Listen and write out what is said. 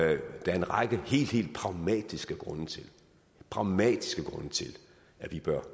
en række helt helt pragmatiske grunde pragmatiske grunde til at vi bør